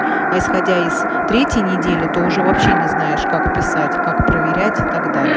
а исходя из третьей недели то уже вообще не знаешь как писать как проверять и так далее